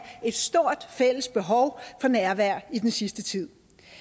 et stort fælles behov for nærvær i den sidste tid